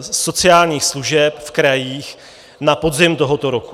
sociálních služeb v krajích na podzim tohoto roku.